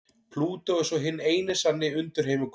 Plútó er svo hinn eini sanni undirheimaguð.